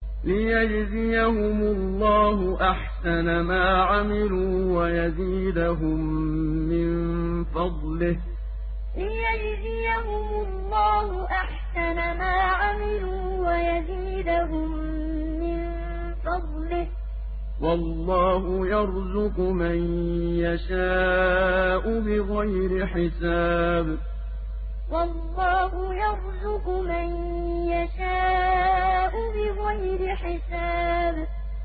لِيَجْزِيَهُمُ اللَّهُ أَحْسَنَ مَا عَمِلُوا وَيَزِيدَهُم مِّن فَضْلِهِ ۗ وَاللَّهُ يَرْزُقُ مَن يَشَاءُ بِغَيْرِ حِسَابٍ لِيَجْزِيَهُمُ اللَّهُ أَحْسَنَ مَا عَمِلُوا وَيَزِيدَهُم مِّن فَضْلِهِ ۗ وَاللَّهُ يَرْزُقُ مَن يَشَاءُ بِغَيْرِ حِسَابٍ